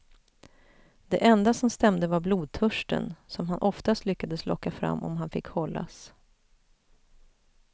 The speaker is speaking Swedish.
Det enda som stämde var blodtörsten, som han oftast lyckades locka fram om han fick hållas.